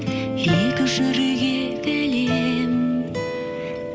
екі жүрек егілем